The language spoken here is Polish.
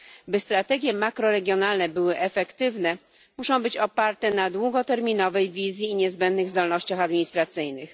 By strategie makroregionalne były efektywne, muszą być oparte na długoterminowej wizji i niezbędnych zdolnościach administracyjnych.